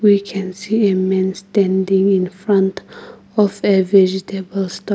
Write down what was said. We can see a man standing in front of a vegetable store.